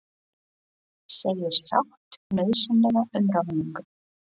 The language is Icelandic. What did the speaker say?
Segir sátt nauðsynlega um ráðningu